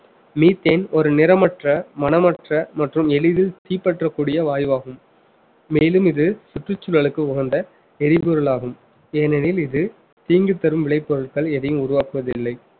methane ஒரு நிறமற்ற மணமற்ற மற்றும் எளிதில் தீப்பற்றக்கூடிய வாயுவாகும் மேலும் இது சுற்றுச்சூழலுக்கு உகந்த எரிபொருள் ஆகும் ஏனெனில் இது தீங்கு தரும் விளைபொருட்கள் எதையும் உருவாக்குவதில்லை